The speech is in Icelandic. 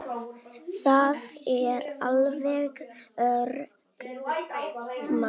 Það er alveg öruggt mál.